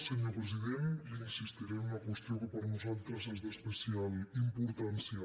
senyor president li insistiré en una qüestió que per nosaltres és d’especial importància